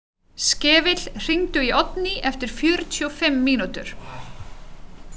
Skefill, hringdu í Oddný eftir fjörutíu og fimm mínútur.